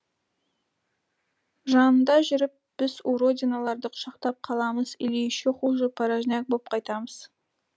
жанында жүріп біз уродиналарды құшақтап қаламыз или еще хуже порожняк боп қайтамыз